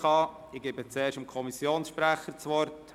Ich gebe zuerst dem Kommissionssprecher das Wort.